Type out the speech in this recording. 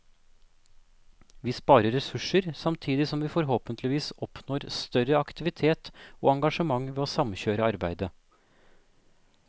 Vi sparer ressurser, samtidig som vi forhåpentligvis oppnår større aktivitet og engasjement ved å samkjøre arbeidet.